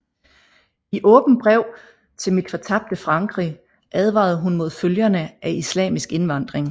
I Åbent brev til mit fortabte Frankrig advarede hun mod følgerne af islamsk indvandring